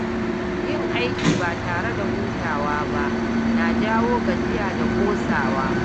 Yin aiki ba tare da hutawa ba na jawo gajiya da ƙosawa